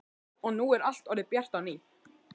Og nú er allt orðið bjart á ný.